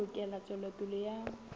ka ho lekola tswelopele ya